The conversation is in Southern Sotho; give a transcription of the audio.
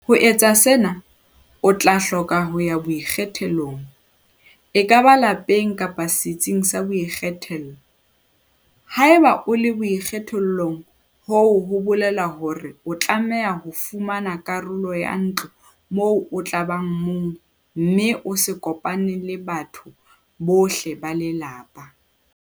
Ho etsa sena, o tla hloka ho ya boikgethollong - ekaba lapeng kapa setsing sa boikgethollo."Haeba o le boikgethollong hoo ho bolela hore o tlameha ho fumana karolo ya ntlo moo o tla bang mong mme o sa kopane le batho bohle ba lelapa."